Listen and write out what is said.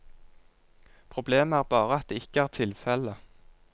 Problemet er bare at det ikke er tilfelle.